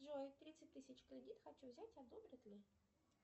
джой тридцать тысяч кредит хочу взять одобрят ли